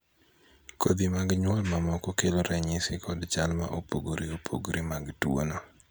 kodhi mag nyuol mamoko kelo ranyisi kod chal ma opogore opogore mag tuo no